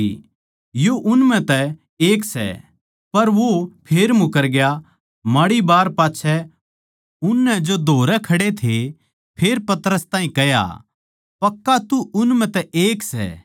पर वो फेर मुकरग्या माड़ी बार पाच्छै उननै जो धोरै खड़े थे फेर पतरस ताहीं कह्या पक्का तू उन म्ह तै एक सै क्यूँके तू गलीली भी सै